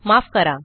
माफ करा